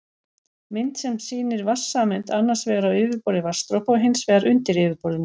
Mynd sem sýnir vatnssameind annars vegar á yfirborði vatnsdropa og hins vegar undir yfirborðinu.